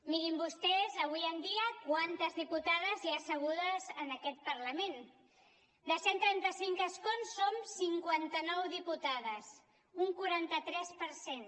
mirin vostès avui en dia quantes diputades hi ha assegudes en aquest parlament de cent i trenta cinc escons som cinquanta nou diputades un quaranta tres per cent